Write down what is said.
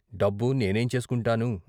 డబ్బు నేనేం చేసుకుంటాను?